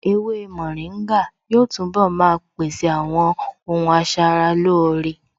Ewé mòríngà yóò túnbọ̀ maa pèsè àwọn ohun asaralóore